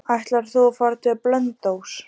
Ætlar þú að fara til Blönduóss?